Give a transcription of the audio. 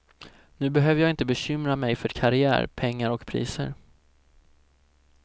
Nu behöver jag inte bekymra mig för karriär, pengar och priser.